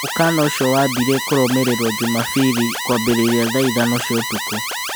Mũkana ũcio wambirie kũrũmĩrĩrwo Jumabiri kũambĩrĩria thaa ithano cia ũtukũ.